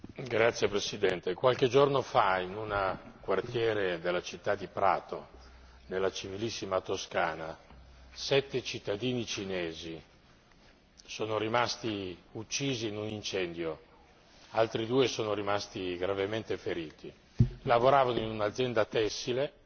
Signor Presidente, onorevoli colleghi, qualche giorno fa in un quartiere della città di Prato, nella civilissima Toscana, sette cittadini cinesi sono rimasti uccisi in un incendio e altri due sono rimasti gravemente feriti. Lavoravano in un'azienda tessile